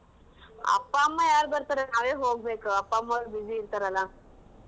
ಅಪ್ಪಾ ಅಮ್ಮಾ ಯಾರ್ ಬರ್ತಾರೆ ನಾವೇ ಹೋಗ್ಬೇಕ್ ಅಪ್ಪಾ ಅಮ್ಮಾ busy ಇರ್ತಾರಲ್ಲಾ.